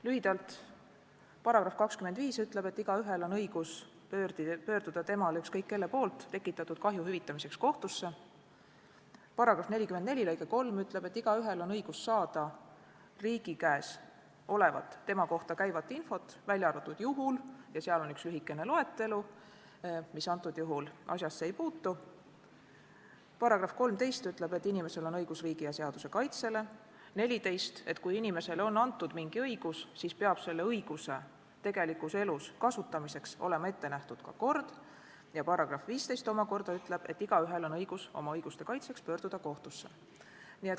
Lühidalt, § 25 ütleb, et igaühel on õigus pöörduda talle ükskõik kelle poolt tekitatud kahju hüvitamiseks kohtusse, § 44 lõige 3 ütleb, et igaühel on õigus saada riigi käest tema kohta käivat infot, välja arvatud teatud juhul – seal on üks lühikene loetelu, mis antud juhul asjasse ei puutu –,§ 13 järgi on inimesel õigus riigi ja seaduse kaitsele, § 14 näeb ette, et kui inimesele on antud mingi õigus, siis peab selle õiguse tegelikus elus kasutamiseks olema ette nähtud ka kord, ning § 15 omakorda ütleb, et igaühel on õigus pöörduda oma õiguste kaitseks kohtusse.